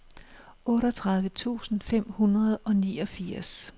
otteogtredive tusind fem hundrede og niogfirs